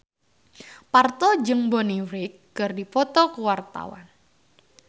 Parto jeung Bonnie Wright keur dipoto ku wartawan